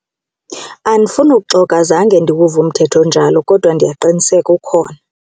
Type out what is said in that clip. Andifuni uxoka zange ndiwuve umthetho onjalo kodwa ndiyaqiniseka ukhona.